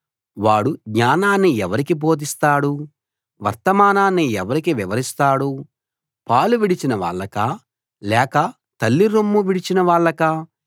వాడు జ్ఞానాన్ని ఎవరికి బోధిస్తాడు వర్తమానాన్ని ఎవరికి వివరిస్తాడు పాలు విడిచిన వాళ్ళకా లేక తల్లి రొమ్ము విడిచిన వాళ్ళకా